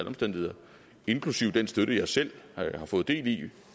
omstændigheder inklusive den støtte jeg selv har fået del i